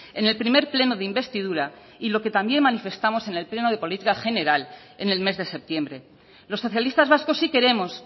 en el primer pleno de investidura y lo que también manifestamos en el pleno de política general en el mes de septiembre los socialistas vascos sí queremos